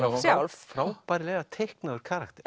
sjálf frábærlega teiknaður karakter